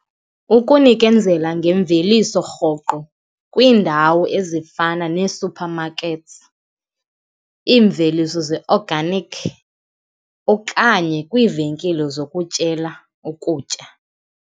Ukunikezela ngemveliso rhoqo kwiindawo ezifana nee-supermarkets, iimveliso ze-organic okanye kwiivenkile zokutyela ukutya.